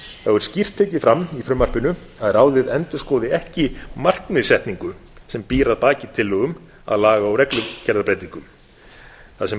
er skýrt tekið fram í frumvarpinu að ráðið endurskoði ekki markmiðssetningu sem býr að baki tillögum að laga og reglugerðarbreytingum það sem ráðið